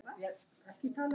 Jórunn Edda.